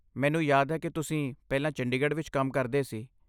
ਮੈਨੂੰ ਯਾਦ ਹੈ ਕਿ ਤੁਸੀਂ ਪਹਿਲਾਂ ਚੰਡੀਗੜ੍ਹ ਵਿੱਚ ਕੰਮ ਕਰਦੇ ਸੀ।